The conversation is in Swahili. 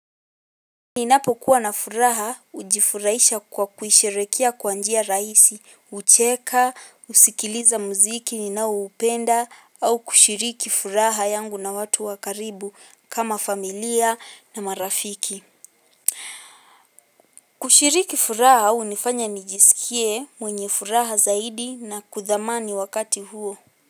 Ni napokuwa na furaha ujifuraisha kwa kuisherekea kwanjia raisi, hucheka, husikiliza muziki ni na upenda, au kushiriki furaha yangu na watu wakaribu kama familia na marafiki. Kushiriki furaha hunifanya nijisikie mwenye furaha zaidi na kuthamani wakati huo.